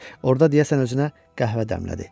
Orda deyəsən özünə qəhvə dəmlədi.